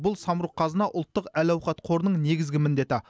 бұл самұрық қазына ұлттық әл ауқат қорының негізгі міндеті